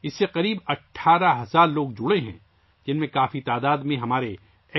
تقریباً 18,000 لوگ اس سے وابستہ ہیں ، جن میں ہمارے سابق فوجیوں کی بڑی تعداد بھی شامل ہے